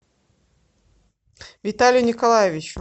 виталию николаевичу